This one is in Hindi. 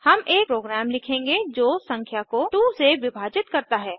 हम एक प्रोग्राम लिखेंगे जो संख्या को 2 से विभाजित करता है